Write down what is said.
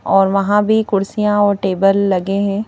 और वहां भी कुर्सियां और टेबल लगे हैं।